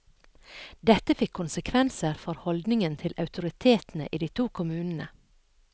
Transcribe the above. Dette fikk konsekvenser for holdningen til autoritetene i de to kommunene.